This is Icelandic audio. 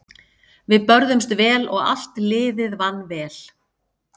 Við börðumst vel og allt liðið vann vel.